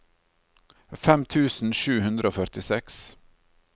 fem tusen sju hundre og førtiseks